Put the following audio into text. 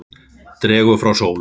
Dregur frá sólu.